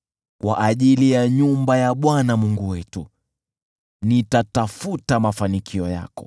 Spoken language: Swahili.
Kwa ajili ya nyumba ya Bwana Mungu wetu, nitatafuta mafanikio yako.